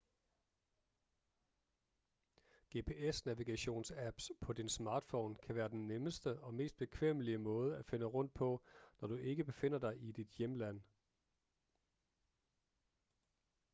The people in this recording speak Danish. gps-navigationsapps på din smartphone kan være den nemmeste og mest bekvemmelige måde at finde rundt på når du ikke befinder dig i dit hjemland